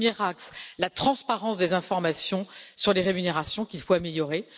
Premièrement, la transparence des informations sur les rémunérations, qu'il faut améliorer.